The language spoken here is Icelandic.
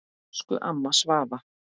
Elsku amma Svava.